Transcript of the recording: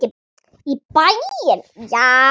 Í bæinn, já!